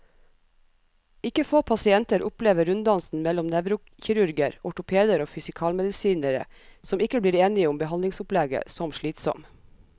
Ikke få pasienter opplever runddansen mellom nevrokirurger, ortopeder og fysikalmedisinere, som ikke blir enige om behandlingsopplegget, som slitsom.